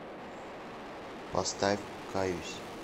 поставь каюсь